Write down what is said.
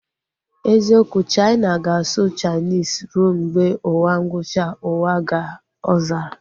Eziokwu, Chaina ga-asụ Chainis rue mgbe ụwa ngwụcha uwa ka ọ zara